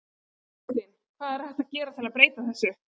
Þóra Kristín: Hvað er hægt að gera til að breyta þessu?